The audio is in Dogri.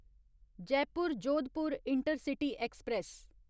Jaipur Jodhpur intercity express